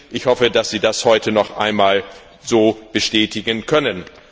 Ich hoffe, dass Sie das heute noch einmal so bestätigen können.